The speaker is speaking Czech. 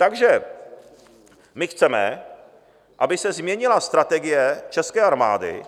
Takže my chceme, aby se změnila strategie české armády